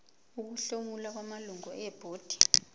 ukuhlomula kwamalungu ebhodi